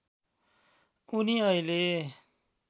उनी अहिले